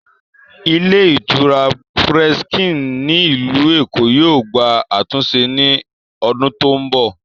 Ilé ìtura Presken ní ilù Èkó yóò gbà àtúnse ní odún tó ń bọ̀